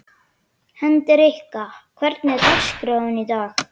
Hendrikka, hvernig er dagskráin í dag?